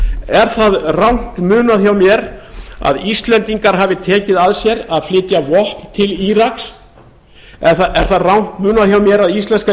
er það rangt munað hjá mér að íslendingar hafi tekið að sér að flytja vopn til íraks er það rangt munað hjá mér að íslenska